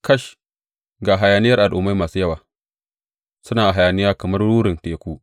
Kash, ga hayaniyar al’ummai masu yawa suna hayaniya kamar rurin teku!